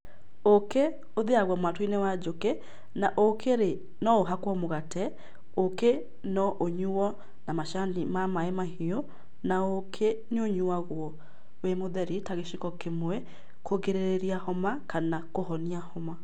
Ũkĩ ũthĩagwo mwatũ inĩ wa njũkĩ na ũkĩ rĩ, no ũhakwo mũgate ũkĩ no ũyuo na macani ma maĩ mahiũ na ũkĩ nĩ ũnyũagwo wĩ mũtheri, ta gĩciko kimwe kũgĩrĩria homa kana kũhonia homa.